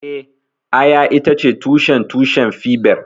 Eh, Aya itace tushen tushen fiber